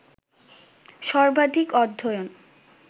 সবার্ধিক অধ্যয়ন